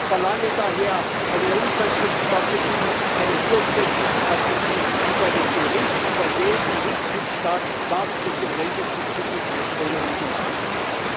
Ich verlange daher eine Umsetzungsstrategie, eine Durchsetzungsstrategie und einen Bericht über jeden Mitgliedsstaat, was mit den länderspezifischen Empfehlungen gemacht wird.